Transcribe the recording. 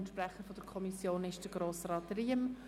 Der Sprecher der Kommission ist Grossrat Riem.